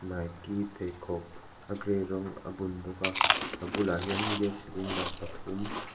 nike pheikhawk a gray rawng a bun bawk a a bulah hian gas cylinder pathum --